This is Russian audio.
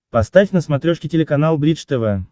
поставь на смотрешке телеканал бридж тв